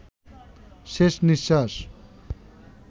শেষ নিঃশ্বাস